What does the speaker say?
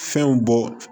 Fɛnw bɔ